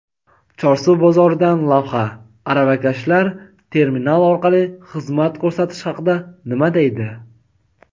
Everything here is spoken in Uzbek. Chorsu bozoridan lavha: aravakashlar terminal orqali xizmat ko‘rsatish haqida nima deydi?.